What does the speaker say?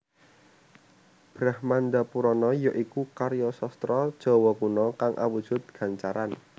Brahmandapurana ya iku karya sastra Jawa Kuna kang awujud gancaran